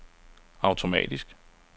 automatisk